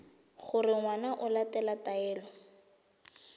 gore ngwana o latela taelo